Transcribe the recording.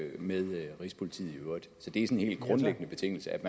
med rigspolitiet i øvrigt så det er sådan en helt grundlæggende betingelse